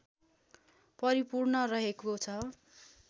परिपूर्ण रहेको छ